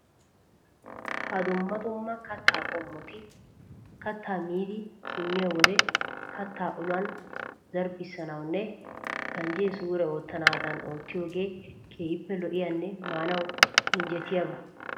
Ha dumma dumma kattaa qommoti kattaa miidi simmiyo wode kattaa uluwan zarbbissanawunne ganjjee suure oottanaadan oottiyagee keehippe lo"iyanne maanawu injjetiyaba.